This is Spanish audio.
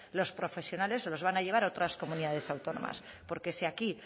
los profesionales se los van a llevar a otras comunidades autónomas porque si aquí